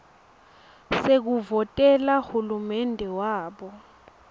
sekuvotela hulumende wabo